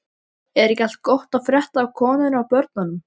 Er ekki allt gott að frétta af konunni og börnunum?